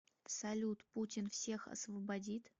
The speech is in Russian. салют путин всех освободит